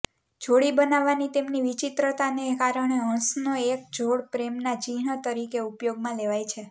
જોડી બનાવવાની તેમની વિચિત્રતાને કારણે હંસનો એક જોડ પ્રેમના ચિહ્ન તરીકે ઉપયોગમાં લેવાય છે